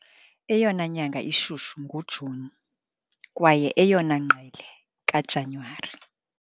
Eyona nyanga ishushu nguJuni kwaye eyona ngqele kaJanuwari.